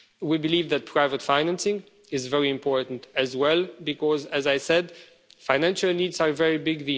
We believe that private financing is very important as well because, as I said, financial needs are very